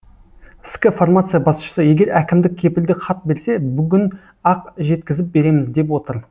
ск фармация басшысы егер әкімдік кепілдік хат берсе бүгін ақ жеткізіп береміз деп отыр